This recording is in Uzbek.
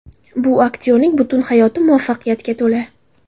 Bu aktyorning butun hayoti muvaffaqiyatga to‘la.